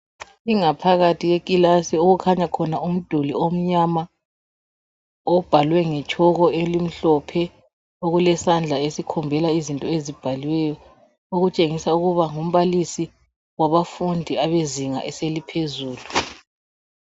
Ingaphakathi yekilasi okukhanya khona umduli omnyama obhalwe nge chalk emhlophe okulezandla esikhombela izinto ezibhaliweyo okutshengisa ukuba ngumbalisi wabafundi abezinga eliphezulu.